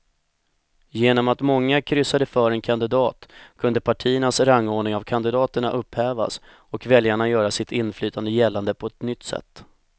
Genom att många kryssade för en kandidat kunde partiernas rangordning av kandidaterna upphävas och väljarna göra sitt inflytande gällande på ett nytt sätt.